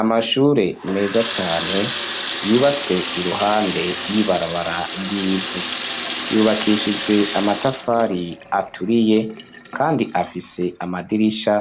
Amashure meza cyane yubatswe iruhande y'ibarabara ry'ivu .Yubakishijwe amatafari aturiye , kandi afise amadirisha